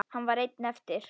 Hann var einn eftir.